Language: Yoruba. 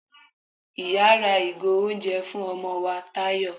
iyá ra ìgò oúnjẹ fún ọmọ wá tayọ